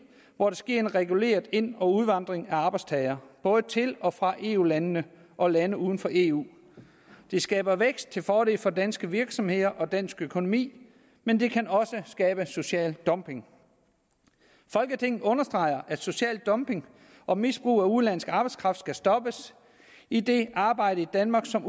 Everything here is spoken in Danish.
hvor der sker en reguleret ind og udvandring af arbejdstagere både til og fra eu landene og lande uden for eu det skaber vækst til fordel for danske virksomheder og dansk økonomi men det kan også skabe social dumping folketinget understreger at social dumping og misbrug af udenlandsk arbejdskraft skal stoppes idet arbejde i danmark som